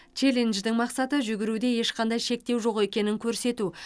челлендждің мақсаты жүгіруде ешқандай шектеу жоқ екенін көрсету